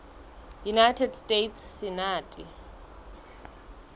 united states senate